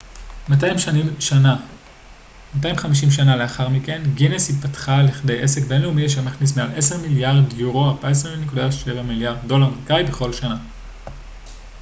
250 שנה לאחר מכן גינס התפתחה לכדי עסק בינלאומי אשר מכניס מעל 10 מיליארד יורו 14.7 מיליארד דולר אמריקאי בכל שנה